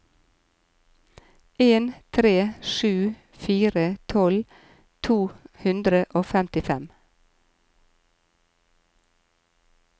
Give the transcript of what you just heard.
en tre sju fire tolv to hundre og femtifem